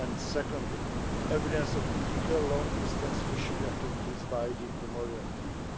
secondly, evidence of illegal long distance fishing activities by the Comorian fleet